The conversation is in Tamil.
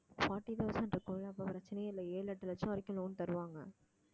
forty thousand இருக்கும்ல அப்போ பிரச்சனையே இல்லை ஏழு எட்டு லட்சம் வரைக்கும் loan தருவாங்க